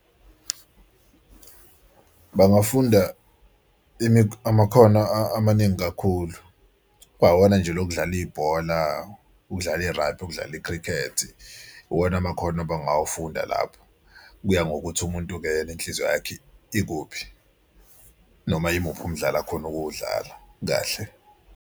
Bangafunda amakhono amaningi kakhulu kwawona nje lokudlala ibhola, ukudlala i-rugby, ukudlala i-cricket. Iwona amakhono abangawafunda lawo kuya ngokuthi umuntu-ke yena inhliziyo yakhe ikuphi, noma imuphi umdlalo akhona ukuwudlala kahle.